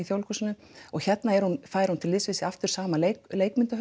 Þjóðleikhúsinu og hérna er hún fær hún til liðs við sig aftur sama